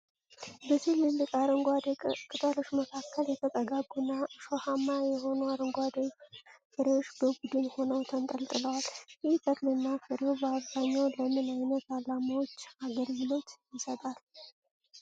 በትልልቅ አረንጓዴ ቅጠሎች መካከል፣ የተጠጋጉና እሾሃማ የሆኑ አረንጓዴ ፍሬዎች በቡድን ሆነው ተንጠልጥለዋል። ይህ ተክልና ፍሬው በአብዛኛው ለምን ዓይነት ዓላማዎች አገልግሎት ይሰጣል?